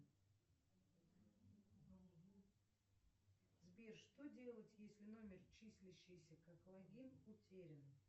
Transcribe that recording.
сбер что делать если номер числящийся как логин утерян